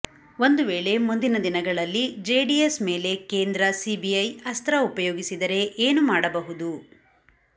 ಒಂದುವೇಳೆ ಮುಂದಿನ ದಿನಗಳಲ್ಲಿ ಜೆಡಿಎಸ್ ಮೇಲೆ ಕೇಂದ್ರ ಸಿಬಿಐ ಅಸ್ತ್ರ ಉಪಯೋಗಿಸಿದರೆ ಏನುಮಾಡಬಹುದು